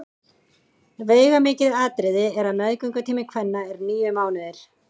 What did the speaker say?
Veigamikið atriði er að meðgöngutími kvenna er níu mánuðir.